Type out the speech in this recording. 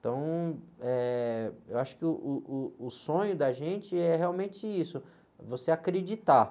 Então, eh, eu acho que uh, uh, uh o sonho da gente é realmente isso, você acreditar.